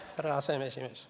Härra aseesimees!